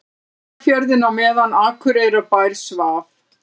Eyjafjörðinn á meðan Akureyrarbær svaf.